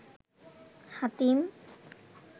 Hatim